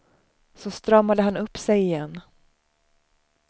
Så stramade han upp sig igen.